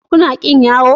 Kuna ƙin yawo?